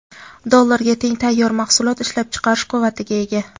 dollarga teng tayyor mahsulot ishlab chiqarish quvvatiga ega.